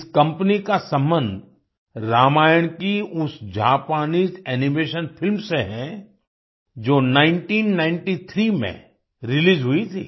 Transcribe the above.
इस कंपनी का संबंध रामायण की उस जापानीज एनिमेशन फिल्म से है जो 1993 में रिलीज हुई थी